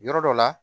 Yɔrɔ dɔ la